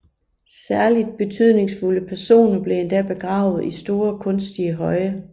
Særligt betydningsfulde personer blev endda begravet i store kunstige høje